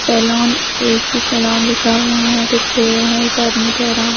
salon AC saloon लिखा हुआ है पिछ है एक आदमी ठेहरा हु --